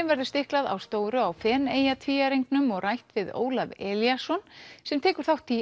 verður stiklað á stóru á Feneyjatvíæringnum og rætt við Ólaf Elíasson sem tekur þátt í